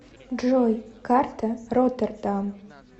джой карта роттердам